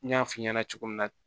N y'a f'i ɲɛna cogo min na